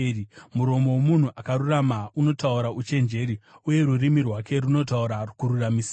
Muromo womunhu akarurama unotaura uchenjeri, uye rurimi rwake runotaura kururamisira.